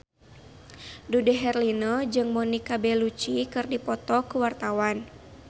Dude Herlino jeung Monica Belluci keur dipoto ku wartawan